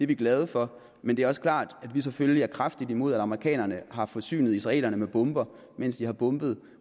vi glade for men det er også klart at vi selvfølgelig er kraftigt imod at amerikanerne har forsynet israelerne med bomber mens de har bombet